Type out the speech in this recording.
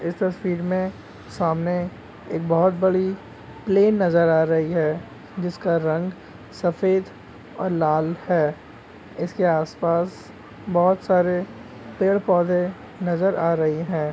इस तस्वीर में सामने एक बहुत बड़ी प्लेन नजर आ रही है जिसका रंग सफ़ेद और लाल है इसके आस- पास बहुत सारे पेड़ पौधे नजर आ रही है।